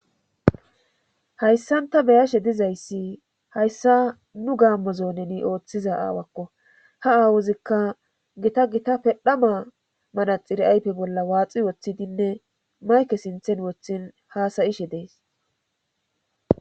Hayssanta beyashe dizayssi hayssa nu gaammozo neni ooththiza aawakko ha aawuzikka gita gita pedhama manaxiri aype bolla waaxi woththidinne mayke sinthen woththin haasayishe dees.